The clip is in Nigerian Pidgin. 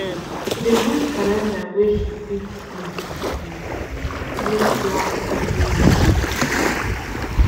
she dey use calender wey she fit see use use plan studyrest and recheck am